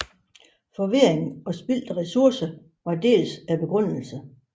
Forvirring og spildte resourcer var dels begrundelsen